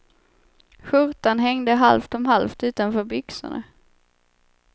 Skjortan hängde halvt om halvt utanför byxorna.